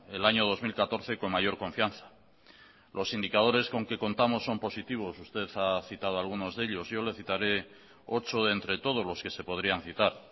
el año dos mil catorce con mayor confianza los indicadores con que contamos son positivos usted ha citado algunos de ellos yo le citaré ocho de entre todos los que se podrían citar